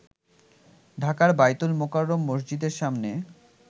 ঢাকার বায়তুল মোকাররম মসজিদের সামনে